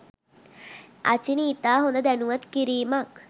අචිනි ඉතා හොඳ දැනුවත් කිරීමක්